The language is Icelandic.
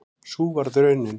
Sú varð raunin